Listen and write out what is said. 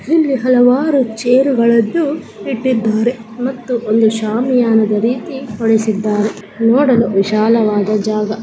ಇಲ್ಲಿ ಹಲವಾರು ಚೇರುಗಲ್ಲನು ಇಟ್ಟಿದಾರೆ ಮತ್ತು ಒಂದು ಶಾಮಿಯಾನದ ರೀತಿ ಹೊರಿಸಿದ್ದಾರೆ ನೋಡಲೂ ವಿಶಾಲವಾದ ಜಾಗ.